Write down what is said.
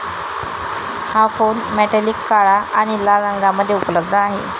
हा phone metallic काळा आणि लाल रंगामध्ये उपलब्ध आहे.